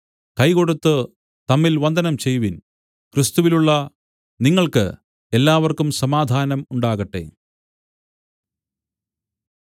കൈ കൊടുത്തു തമ്മിൽ വന്ദനം ചെയ്‌വിൻ ക്രിസ്തുവിലുള്ള നിങ്ങൾക്ക് എല്ലാവർക്കും സമാധാനം ഉണ്ടാകട്ടെ